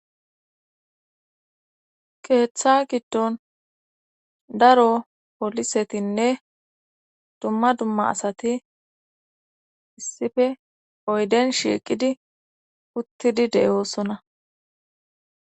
Keeththa giddon daro polisetinne dumma dumma asati issife oyden shiiqidi uttidi deyoosona.